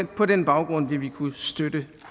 på den baggrund vil vi kunne støtte